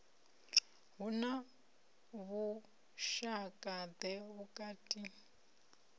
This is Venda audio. hu na vhushaka ḓe vhukati